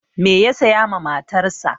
Me ya saya ma matarsa?